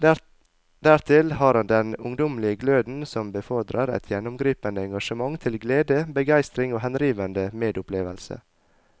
Dertil har han den ungdommelige gløden som befordrer et gjennomgripende engasjement til glede, begeistring og henrivende medopplevelse.